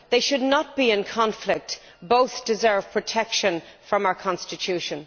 They should not be in conflict both deserve protection from our Constitution.